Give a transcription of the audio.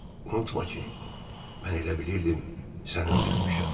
Unutma ki, mən elə bilirdim sən öldürmüşəm.